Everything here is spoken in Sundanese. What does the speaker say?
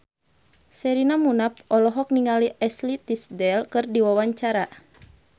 Sherina Munaf olohok ningali Ashley Tisdale keur diwawancara